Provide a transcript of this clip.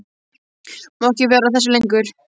Má ekki vera að þessu lengur.